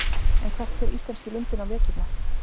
En hvert fer íslenski lundinn á veturna?